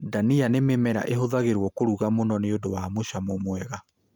Ndania nĩ mĩmera ĩhũthagĩrwo kuruga mũno nĩ ũndũ wa mũcamo wega